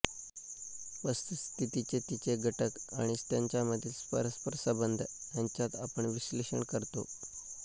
वस्तुस्थितीचे तिचे घटक आणि त्यांच्यामधील परस्परसंबंध ह्यांच्यात आपण विश्लेषण करतो